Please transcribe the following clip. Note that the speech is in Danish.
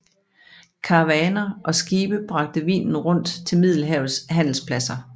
Karavaner og skibe bragte vinen rundt til Middelhavets handelspladser